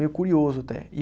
Meio curioso até.